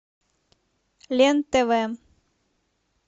лен тв